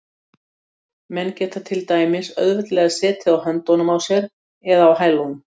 Menn geta til dæmis auðveldlega setið á höndunum á sér eða á hælunum.